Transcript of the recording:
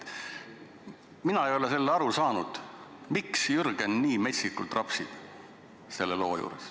Mina ei ole aru saanud, miks Jürgen nii metsikult rapsib selle loo juures.